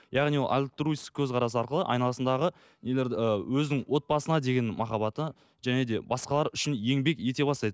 яғни ол альтруистік көзқарас арқылы айналасындағы нелерді ы өзінің отбасына деген махаббаты және де басқалар үшін еңбек ете бастайды